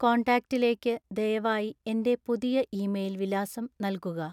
കോൺടാക്റ്റിലേക്ക് ദയവായി എന്‍റെ പുതിയ ഇമെയിൽ വിലാസം നൽകുക